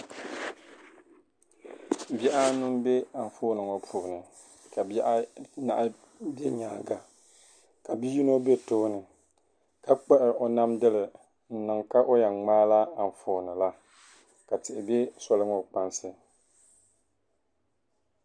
Bihi anu m-be anfooni ŋɔ puuni ka bihi anahi be nyaaŋa ka bi'yino be tooni ka kpuɣi o namdili n-niŋ ka o yen ŋmaa la anfooni la ka tihi be soli ŋɔ kpaŋsi.